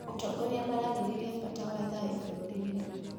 Atongoria mararĩrĩria bata wa thayũ bũrũri-inĩ